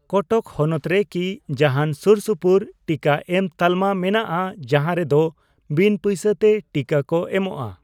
ᱠᱚᱴᱚᱠ ᱦᱚᱱᱚᱛ ᱨᱮ ᱠᱤ ᱡᱟᱦᱟᱱ ᱥᱩᱨᱥᱩᱯᱩᱨ ᱴᱤᱠᱟᱹᱮᱢ ᱛᱟᱞᱢᱟ ᱢᱮᱱᱟᱜᱼᱟ ᱡᱟᱦᱟᱸ ᱨᱮ ᱫᱚ ᱵᱤᱱ ᱯᱚᱭᱥᱟ ᱛᱮ ᱴᱤᱠᱟᱹ ᱠᱚ ᱮᱢᱚᱜᱼᱟ ?